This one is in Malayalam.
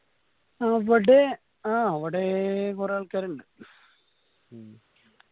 അവടെ ആ അവടേ കൊറേ ആൾക്കാരിണ്ട്